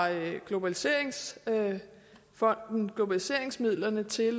globaliseringsfonden globaliseringsmidlerne til